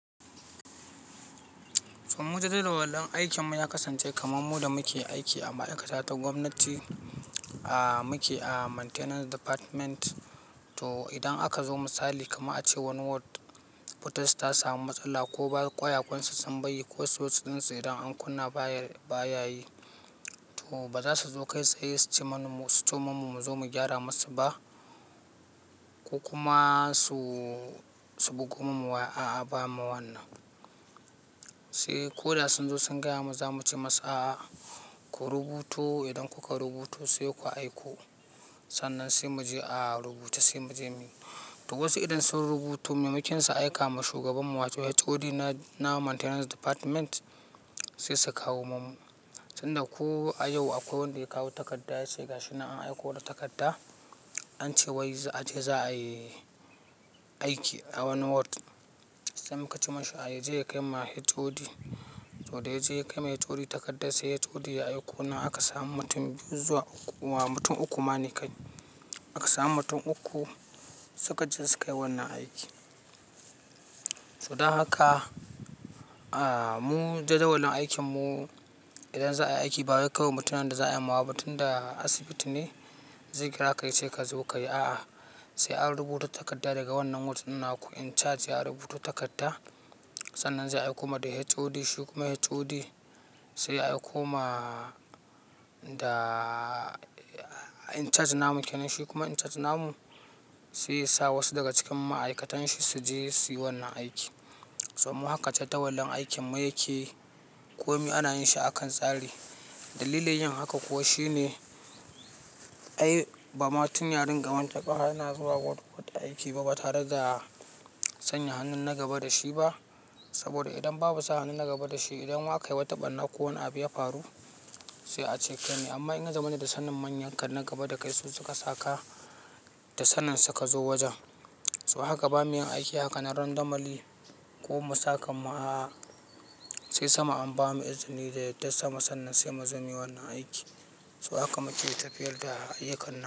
To mu jadawalin aikinmu ya kasance kaman mu da muke aiki a ma'aikata ta gwamnati. A muke a maintenance department. To idan aka zo misali kaman a ce wani ward, wutarsu ta samu matsala ko ba kwayakwansu sun baiyi ko siwich ɗinsu idan an kunna baya, baya yi. To ba za su zo kai tsaye su ce mana mu, su tso man mu mu zo mu gyara masu ba, ko kuma su, su bugo mana waya, a'a ba ma wannan. Sai ko da sun zo sun gaya mana za mu ce masa a ku rubuto. Idan kuka rubuto sai ku aiko. Sannan sai mu je a rubuce sai mu je muyi. To wasu idan sun rubuto, maimakinsu aika ma shugabanmu wato HOD na, na maintenance department sai su kawo mana. Tunda ko a yau akwai wanda ya kawo takarda ya ce ga shi na an aiko da takarda, an ce wai a je za'a yi aiki a wani ward. Sai muka ce masa ya je ya kai ma HOD. To dai ya je ya kai ma HOD takarda, sai HOD ya aiko na aka samu mutum biyu zuwa uku. Wa mutum uku ma ne kai. Aka samu mutum uku suka je su kai wannan aiki. To don haka, a mu jadawalin aikin mu idan za'a yi aiki ba wa ya kawo mutumin da za'a yi ma ba. Mutum da asibiti ne zai kira ka ya ce ka zo ka yi a'a. Sai an rubuta takarda daga wannan ward ɗin na ku in charge ya rubuto takarda. Sannan za'a aiko ma da HOD. Shi kuma HOD sai ya aiko ma da in charge namu kenan. Shi kuma in charge namu sai ya sa wasu daga cikin ma'aikatan shi su je suyi wannan aiki. So haka jadawalin aikin mu yake. Komi ana yin shi akan tsari. Dalilin yin haka kuwa shine ai ba ma tun yarin gamonta ƙaha yana zuwa ward wata aiki ba batare da sanya hannun na gaba da shi ba. Saboda idan babu sa hannu na gaba da shi, idan wa aka yi wata ɓarna ko wani abu ya faru sai ace kaine. Amma in ka zamani da sanin manyan ka na gaba da kai su suka saka da sanin suka zo wajen. So haka ba mu yin aiki hakan ran damali ko masaka ma a'a. Sai sama an ba mu izini da yadda sama sannan sai muzo muyi wannan aiki. So haka muke tafiyar da ayyukan nan.